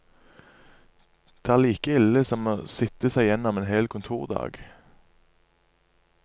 Det er like ille som å sitte seg gjennom en hel kontordag.